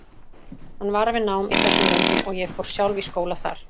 Hann var við nám í þessum löndum og ég fór sjálf í skóla þar.